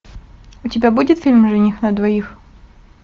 у тебя будет фильм жених на двоих